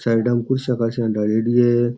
Side में कुर्सियां डालेड़ी है।